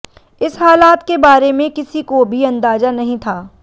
इस हालात के बारे में किसी को भी अंदाजा नहीं था